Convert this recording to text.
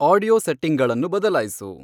audio ಸೆಟ್ಟಿಂಗ್ಗಳನ್ನು ಬದಲಾಯ್ಸು